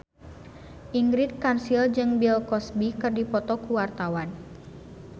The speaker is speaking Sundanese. Ingrid Kansil jeung Bill Cosby keur dipoto ku wartawan